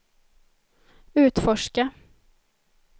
utforska